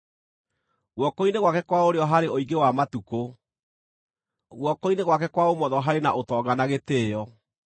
Guoko-inĩ gwake kwa ũrĩo harĩ ũingĩ wa matukũ; guoko-inĩ gwake kwa ũmotho harĩ na ũtonga na gĩtĩĩo.